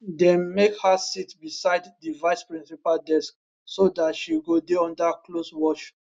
dem make her sit beside di vice principal desk so dat she go dey under close watch